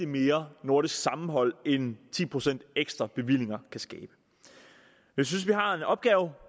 mere nordisk sammenhold end det ti procent ekstra bevillinger kan skabe jeg synes vi har en opgave